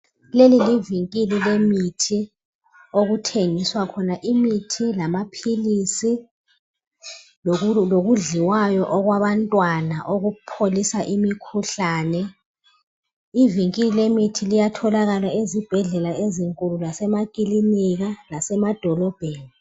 leli livinkili lemithi okuthengiswa khona imithi lamaphilisi lokudliwayo okwabantwana okupholisa imikhuhlane ivinkili lemithi liyatholakala ezibhedlela ezinkulu lemakilinika lasemadolobheni